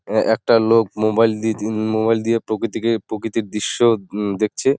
এ-একটা লোক মোবাইল দি মোবাইল দিয়ে প্রকৃতিকে প্রকৃতিক দৃশ্য দেখছে ।